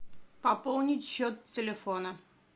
пополнить счет телефона